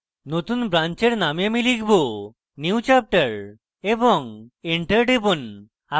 নতুন ব্রান্চের name আমি লিখব: newchapter এবং enter টিপুন